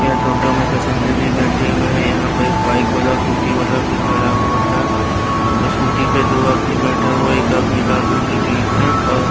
यह टोटो मैं पैसेंजर भी बैठे हुए हैं यहाँ पर एक बाइक वाला स्कूटी वाला भी खड़ा हुआ है वह स्कूटी पर दो आदमी बैठा हुआ है एक आदमी लाल रंग की टी_शर्ट और--